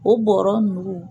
O bɔɔrɔ nunnugu